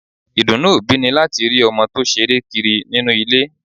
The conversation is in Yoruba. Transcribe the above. Ìdùnnú òbí ni láti rí ọmọ tó ṣeré kiri nínú ilé